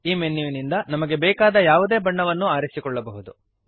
ಈ ಮೆನ್ಯುವಿನಿಂದ ನಮಗೆ ಬೇಕಾದ ಯಾವುದೇ ಬಣ್ಣವನ್ನು ಆರಿಸಿಕೊಳ್ಳಬಹುದು